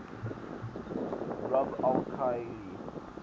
rub al khali